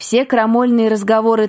все крамольные разговоры